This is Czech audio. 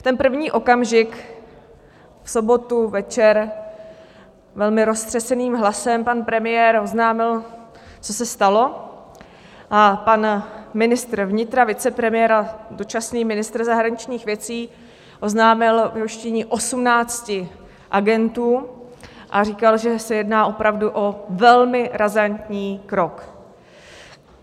V ten první okamžik v sobotu večer velmi roztřeseným hlasem pan premiér oznámil, co se stalo, a pan ministr vnitra, vicepremiér a dočasný ministr zahraničních věcí, oznámil vyhoštění 18 agentů a říkal, že se jedná opravdu o velmi razantní krok.